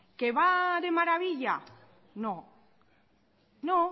que va de maravilla no no